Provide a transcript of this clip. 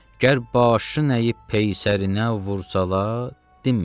Gər başın əyib peysərinə vursalar, dinmə.